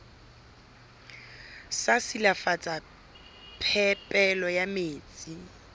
sa silafatsa phepelo ya metsi